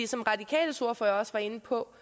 som radikales ordfører også var inde på